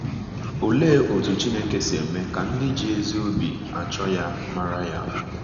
Olee otú Chineke si eme ka ndị ji ezi obi achọ ya mara ya?